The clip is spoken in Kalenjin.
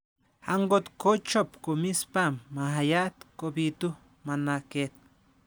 angot ko chop komie sperm maayat, kobitu managet